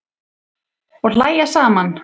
Og hlæja saman.